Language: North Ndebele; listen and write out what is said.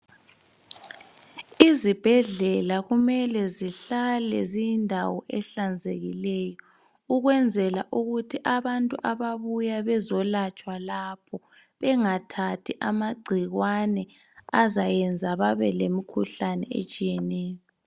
Izibhedlela kumele ziyindawo ehlanzekileyo ukwenzela ukuthi abantu ababuya bezolatshwa lapho bengathathi amagcikwane azayenza babe lemikhuhlane etshiyeneyo.